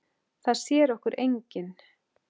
Það sér okkur enginn.